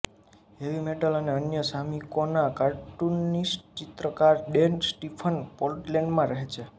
heavy metal અને અન્ય સામયિકોના કાર્ટૂનિસ્ટચિત્રકાર ડેન સ્ટીફન પોર્ટલેન્ડમાં રહે છે